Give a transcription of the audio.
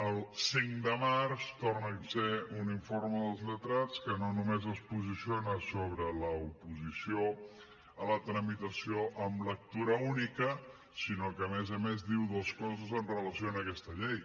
el cinc de març torna a ser un informe dels lletrats que no només es posiciona sobre l’oposició a la tramitació en lectura única sinó que a més a més diu dos coses amb relació a aquesta llei